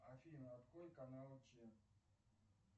афина открой канал че